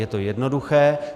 Je to jednoduché.